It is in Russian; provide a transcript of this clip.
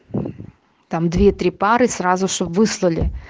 там две три пары сразу чтобы выслали